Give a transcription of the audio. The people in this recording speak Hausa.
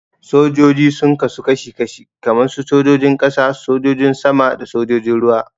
Sojoji sun kasu kashi-kashi kaman su sojojin ƙasa, sojojin sama da sojojin ruwa.